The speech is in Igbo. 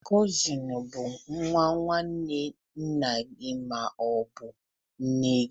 Kozin bụ nwa nwanne nna ma ọ bụ nne gị.